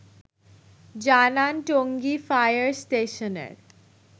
জানান টঙ্গী ফায়ার স্টেশনের